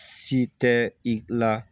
Si tɛ i la